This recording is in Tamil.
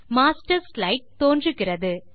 மாஸ்டர் ஸ்லைடு தோன்றுகிறது